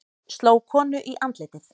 Sló konu í andlitið